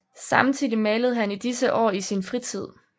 Samtidig malede han i disse år i sin fritid